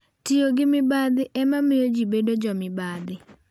Tiyo gi mibadhi ema miyo ji bedo jomibadhi.